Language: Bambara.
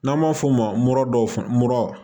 N'an b'a f'o ma mura dɔw mura